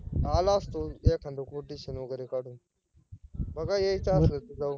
आलो असतो एखाद quotationquotation वगैरे काडून बगा यायच असल तर जाऊ